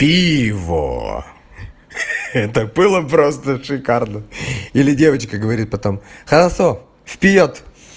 пиво это было просто шикарно или девочка говорит потом хорошо вперёд